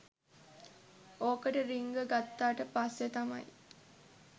ඕකට රින්ග ගත්තට පස්සේ තමයි